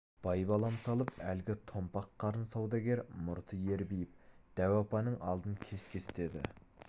байбалам салып әлгі томпақ қарын саудагер мұрты ербиіп дәу апаның алдын кес-кестеді